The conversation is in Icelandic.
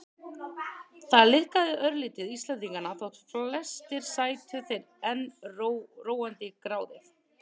Það liðkaði örlítið Íslendingana þótt flestir sætu þeir enn róandi í gráðið.